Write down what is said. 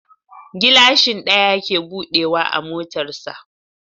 Gilashin ɗaya ke buɗe wa a motar sa